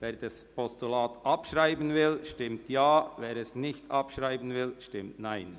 Wer das Postulat abschreiben will, stimmt Ja, wer dies nicht will, stimmt Nein.